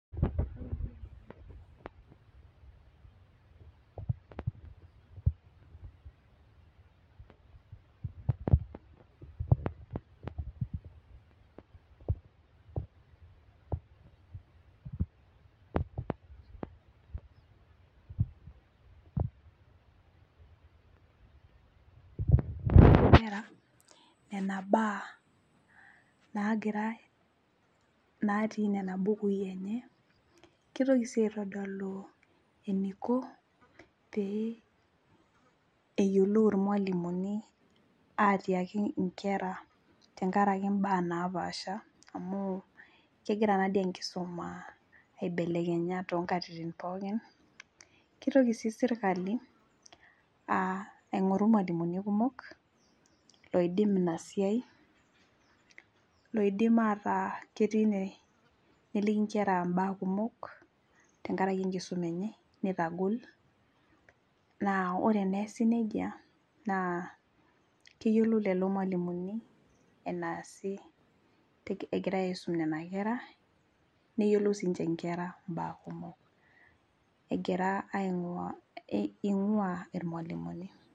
ore nena baa natii nena bukui kitoki sii aitodolu eniko pee eyiolou ilmalimuni, atiaki inkera tankaraki inkera napaasha amu kegira nadii enkisuma aibelekenya too inkatitin pooki, aigoru ilmalimuni kumok oidim inasiai oidim neliki inkera ibaa kumok ore naa esi najia naa keyiolou lelo malimuni enesi egirai aisum nena kera.